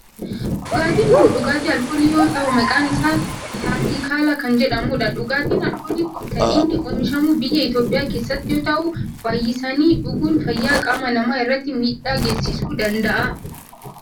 Dhugaatiin kun dhugaatii alkoolii yoo ta'u maqaan isaa kaatikaalaa kan jedhamudha. Dhugaatiin alkoolii kun kan inni oomishamu biyya Itiyoophiyaa keessatti yoo ta'u baayisaanii dhuguun fayyaa qaama namaa irratti miidhaa geessisuu danda'a.